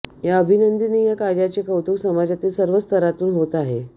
या अभिनंदनीय कार्याचे कौतुक समाजातील सर्व स्तरातून होत आहे